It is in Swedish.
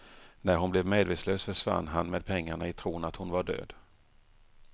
När hon blev medvetslös försvann han med pengarna i tron att hon var död.